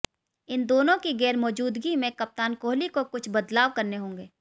इन दोनों की गैर मौजूदगी में कप्तान कोहली को कुछ बदलाव करने होंगे